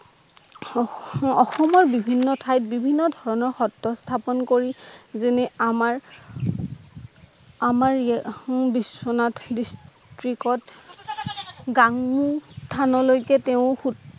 অসমৰ বিভিন্ন ঠাইত বিভিন্ন ধৰণৰ সএ স্হাপন কৰি যেনে আমাৰ আমাৰ য়া হো বিশ্বনাথ দিছ ত্ৰিতত গাংগু থান লৈকে তেওঁ ফুট